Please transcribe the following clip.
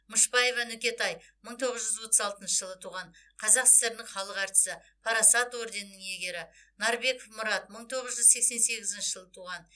мышбаева нүкетай мың тоғыз жүз отыз алтыншы жылы туған қазақ сср інің халық әртісі парасат орденінің иегері нарбеков мұрат мың тоғыз жүз сексен сегізінші жылы туған